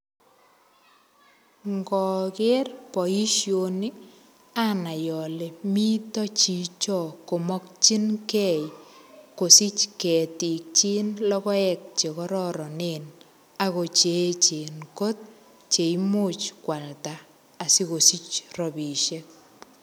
Ngoger boisioni anai ale mito chicho komakyinge kosich ketiikchik logoek che kororonen ago che eechen kot che imuch kwalda asikosich ropisiek.